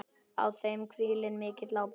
Á þeim hvílir mikil ábyrgð.